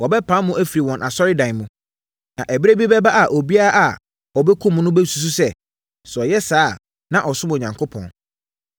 Wɔbɛpam mo afiri wɔn asɔredan mu. Na ɛberɛ bi bɛba a obiara a ɔbɛkum mo no bɛsusu sɛ, sɛ ɔyɛ saa a, na ɔresom Onyankopɔn.